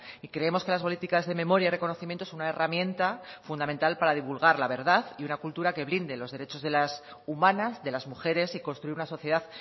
y creemos que las políticas de memoria y reconocimiento es una herramienta fundamental para divulgar la verdad y una cultura que blinde los derechos humanos de las mujeres y construir una sociedad